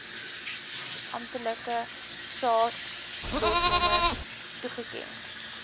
amptelike saadlotnommers toegeken